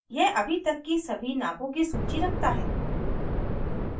यह अभी तक की सभी नापों की सूची रखता है